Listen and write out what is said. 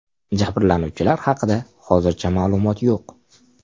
Jabrlanuvchilar haqida hozircha ma’lumot yo‘q.